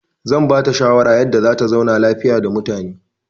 I will advise her on how to leave peacefully with people.